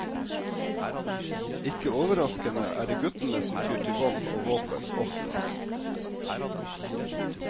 Ikke overraskende er det guttene som tyr til vold og våpen oftest.